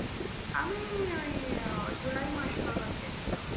আমি ওই আহ july মাস নাগাদ গেছিলাম।